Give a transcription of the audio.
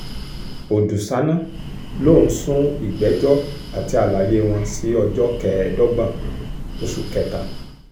ọ̀dùṣáná lòún sún ìgbẹ́jọ́ àti àlàyé wọn sí ọjọ́ kẹẹ̀ẹ́dọ́gbọ̀n oṣù kẹta